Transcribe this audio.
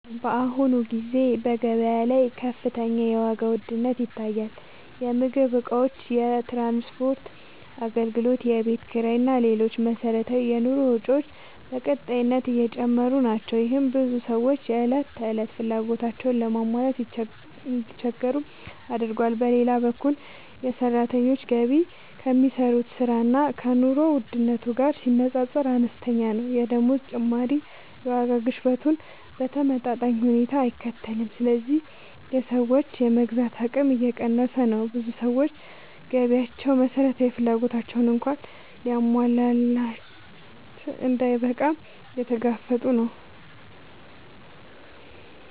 በአሁኑ ጊዜ በገበያ ላይ ከፍተኛ የዋጋ ውድነት ይታያል። የምግብ እቃዎች፣ የትራንስፖርት አገልግሎቶች፣ የቤት ኪራይ እና ሌሎች መሠረታዊ የኑሮ ወጪዎች በቀጣይነት እየጨመሩ ናቸው። ይህም ብዙ ሰዎች የዕለት ተዕለት ፍላጎቶቻቸውን ለማሟላት እንዲቸገሩ አድርጓል። በሌላ በኩል የሰራተኞች ገቢ ከሚሰሩት ሥራ እና ከኑሮ ውድነቱ ጋር ሲነጻጸር አነስተኛ ነው። የደመወዝ ጭማሪ የዋጋ ግሽበቱን በተመጣጣኝ ሁኔታ አይከተልም፣ ስለዚህ የሰዎች የመግዛት አቅም እየቀነሰ ነው። ብዙ ሰዎች ገቢያቸው መሠረታዊ ፍላጎቶቻቸውን እንኳን ለማሟላት እንዳይበቃ እየተጋፈጡ ነው።